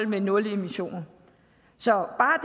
med nul emission så bare